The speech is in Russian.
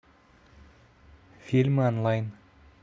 фильмы онлайн